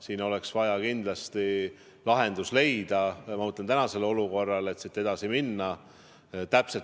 Siin oleks vaja kindlasti lahendus leida, et tänasest olukorrast edasi minna.